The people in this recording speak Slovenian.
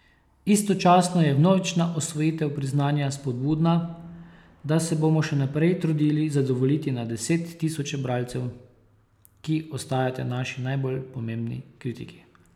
Istočasno je vnovična osvojitev priznanja spodbuda, da se bomo še naprej trudili zadovoljiti na deset tisoče bralcev, ki ostajate naši najbolj pomembni kritiki.